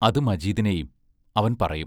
അത് മജീദിനേയും അവൻ പറയും